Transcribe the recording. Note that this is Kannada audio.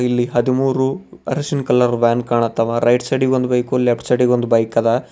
ಇಲ್ಲಿ ಹದಿಮೂರು ಅರಿಶಿನ ಕಲರ್ ವ್ಯಾನ್ ಕಾಣತ್ತಾವ ರೈಟ್ ಸೈಡಿ ಗ್ ಒಂದು ವೆಹಿಕಲ್ ಲೆಫ್ಟ್ ಸೈಡಿ ಗ್ ಒಂದ್ ಬೈಕ್ ಅದ.